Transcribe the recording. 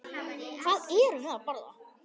Hvað erum við að borða?